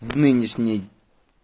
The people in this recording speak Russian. в нынешний